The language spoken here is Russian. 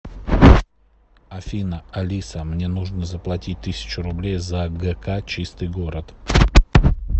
афина алиса мне нужно заплатить тысячу рублей за гк чистый город